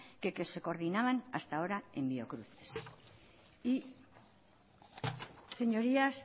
que se coordinaban hasta ahora en biocruces y señorías